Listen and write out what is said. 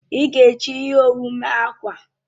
Ị ga-eji ihe owu mee akwa?